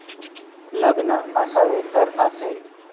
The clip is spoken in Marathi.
लग्न असावं तर असं...!